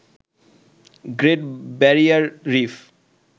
great Barrier reef